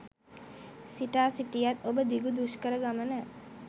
සිතා සිටියත් ඔබ දිගු දුෂ්කර ගමන